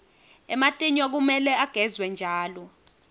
ematinyo kumele agezwe njalo